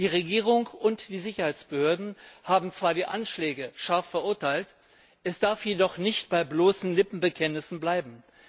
Die Regierung und die Sicherheitsbehörden haben zwar die Anschläge scharf verurteilt, es darf jedoch nicht bei bloßen Lippenbekenntnissen bleiben.